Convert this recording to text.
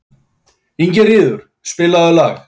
Ingiríður, spilaðu lag.